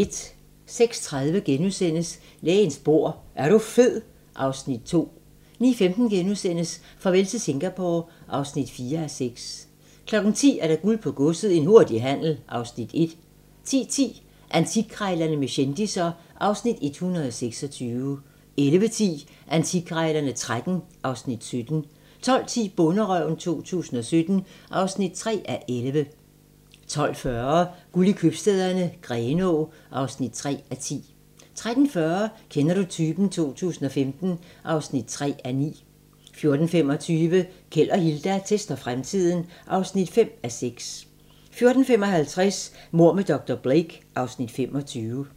06:30: Lægens bord: Er du fed? (Afs. 2)* 09:15: Farvel til Singapore (4:6)* 10:00: Guld på godset - en hurtig handel (Afs. 1) 10:10: Antikkrejlerne med kendisser (Afs. 126) 11:10: Antikkrejlerne XIII (Afs. 17) 12:10: Bonderøven 2017 (3:11) 12:40: Guld i købstæderne - Grenaa (3:10) 13:40: Kender du typen? 2015 (3:9) 14:25: Keld og Hilda tester fremtiden (5:6) 14:55: Mord med dr. Blake (Afs. 25)